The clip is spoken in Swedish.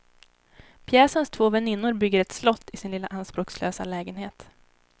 Pjäsens två väninnor bygger ett slott i sin lilla anspråkslösa lägenhet.